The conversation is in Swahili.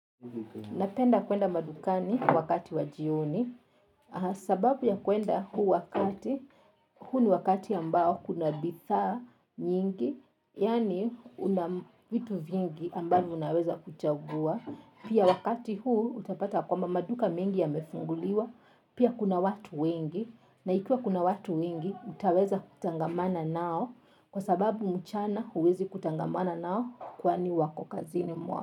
Napenda kwenda madukani wakati wa jioni has sababu ya kwenda huu wakati, huu ni wakati ambao kuna bidhaa nyingi, yaani unam vitu vingi ambavyo unaweza kuchagua, pia wakati huu utapata kwa mamaduka mengi ya mefunguliwa, pia kuna watu wengi, na ikiwa kuna watu wengi, utaweza kutangamana nao kwa sababu mchana huwezi kutangamana nao kwani wako kazini mwao.